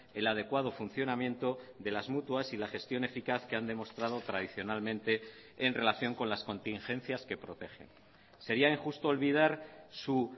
el adecuado funcionamiento de las mutuas y la gestión eficaz que han demostrado tradicionalmente en relación con las contingencias que protegen sería injusto olvidar su